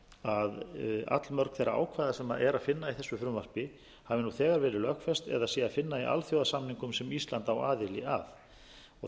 að allmörg þeirra ákvæða sem er að finna í þessu frumvarpi hafi nú þegar verið lögfest eða sé að finna í alþjóðasamningum sem ísland á aðild að þar